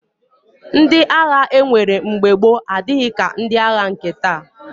Ndị agha e nwere mgbe gboo adịghị ka ndị agha nke taa